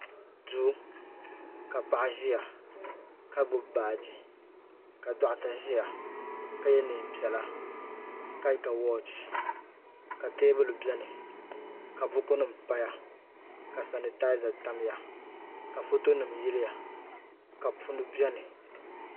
Duu ka paɣa ʒia ka gbibi baaji ka doɣata ʒia ka ye niɛn'piɛla ka ga woochi ka teebuli biɛni ka buku nima paya ka sanitaaza tamya ka foto nima yiliya ka punu biɛni.